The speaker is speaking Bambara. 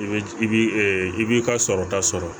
I bɛ i bi i b'i ka sɔrɔta sɔrɔ